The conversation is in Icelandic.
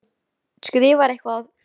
Hún skrifar eitthvað á þessa leið: